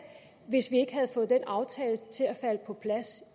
hvis vi ikke havde fået den aftale til at falde på plads